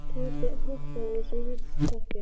Tóti hoppaði eins og lítill krakki.